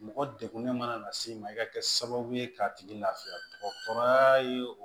Mɔgɔ degunnen mana na se i ma i ka kɛ sababu ye k'a tigi lafiya dɔgɔtɔrɔya ye